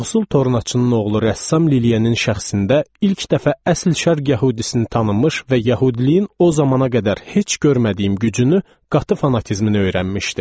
Yoxsul tornacının oğlu rəssam Lilianın şəxsində ilk dəfə əsl şərq yəhudisini tanımış və yəhudiliyin o zamana qədər heç görmədiyim gücünü qatı fanatizmini öyrənmişdim.